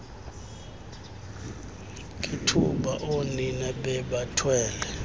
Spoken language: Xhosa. ngethuba oonina bebathwele